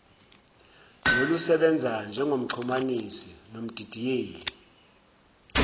nolusebenza njengomxhumanisi nomdidiyeli